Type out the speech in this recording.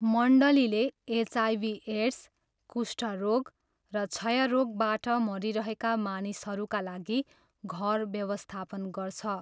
मण्डलीले HIV AIDS, कुष्ठरोग र क्षयरोगबाट मरिरहेका मानिसहरूका लागि घर व्यवस्थापन गर्छ।